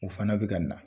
U fana bɛ ka na